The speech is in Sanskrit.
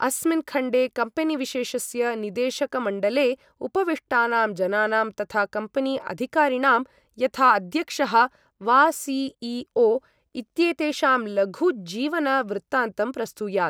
अस्मिन् खण्डे कम्पेनी विशेषस्य निदेशकमण्डले उपविष्टानां जनानां तथा कम्पेनी अधिकारिणां, यथा अध्यक्षः वा सी.ई.ओ. इत्येतेषां लघु जीवन वृत्तान्तं प्रस्तुयात्।